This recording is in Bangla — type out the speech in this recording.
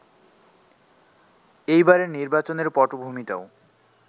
এইবারের নির্বাচনের পটভূমিটাও